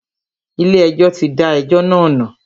Ilé ẹjọ́ tí da ẹjọ́ náà nù.